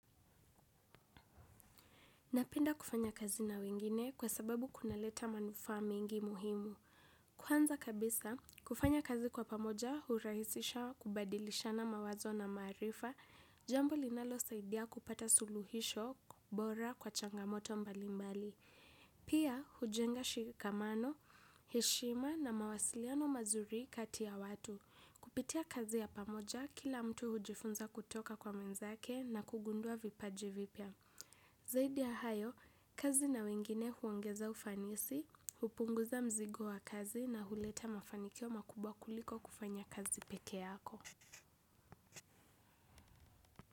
Napenda kufanya kazi na wengine kwa sababu kuna leta manufaa mengine muhimu. Kwanza kabisa kufanya kazi kwa pamoja hurahisisha kubadilishana mawazo na maarifa jambo linalo saidia kupata suluhisho bora kwa changamoto mbalimbali. Pia, hujenga shikamano, heshima na mawasiliano mazuri kati ya watu. Kupitia kazi ya pamoja, kila mtu hujifunza kutoka kwa mwenzake na kugundua vipaji vipya. Zaidi ya hayo, kazi na wengine huongeza ufanisi, hupunguza mzigo wa kazi na huleta mafanikio makubwa kuliko kufanya kazi pekee yako.